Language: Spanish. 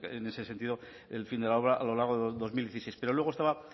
pero en ese sentido el fin de la obra a lo largo del dos mil dieciséis pero luego estaba